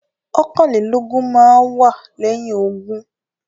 Ọ̀kàn-lé-lógún máá ń wá lẹ́yìn ogún.